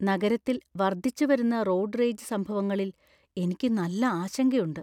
നഗരത്തിൽ വർദ്ധിച്ചുവരുന്ന road rage സംഭവങ്ങളിൽ എനിക്ക് നല്ല ആശങ്കയുണ്ട് .